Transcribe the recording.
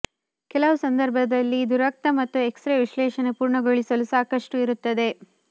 ಕೆಲವು ಸಂದರ್ಭಗಳಲ್ಲಿ ಇದು ರಕ್ತ ಮತ್ತು ಎಕ್ಸರೆ ವಿಶ್ಲೇಷಣೆ ಪೂರ್ಣಗೊಳಿಸಲು ಸಾಕಷ್ಟು ಇರುತ್ತದೆ